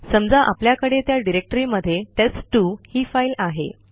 समजा आपल्याकडे त्या डिरेक्टरीमध्ये टेस्ट2 ही फाईल आहे